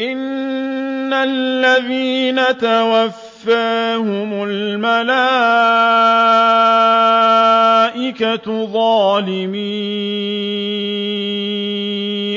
إِنَّ الَّذِينَ تَوَفَّاهُمُ الْمَلَائِكَةُ ظَالِمِي